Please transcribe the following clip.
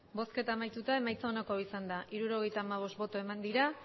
emandako botoak hirurogeita hamabost bai